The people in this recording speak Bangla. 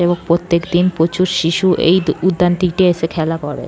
এবং প্রত্যেক দিন প্রচুর শিশু এই উদ্যানটিতে এসে খেলা করে।